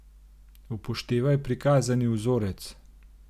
Upoštevaj prikazani vzorec.